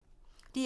DR2